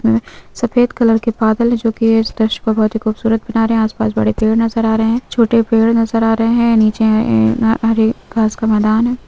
ए सफेद कलर के बादल है जो की है इस दृश्य को बहुत ही खूबसूरत बना रहे हैं आसपास बड़े पेड़ नजर आ रहे हैं छोटे पेड़ नजर आ रहे हैं नीचे हरे घास का मैदान है।